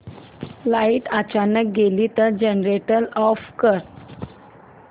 light अचानक गेली तर जनरेटर ऑफ कर